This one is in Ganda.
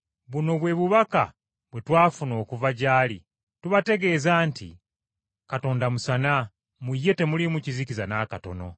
Buno bwe bubaka bwe twafuna okuva gy’ali: tubategeeza nti, Katonda musana; mu ye temuliimu kizikiza n’akatono.